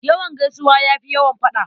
Yawan gaisuwa ya fi yawan faɗa.